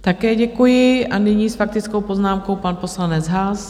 Také děkuji a nyní s faktickou poznámkou pan poslanec Haas.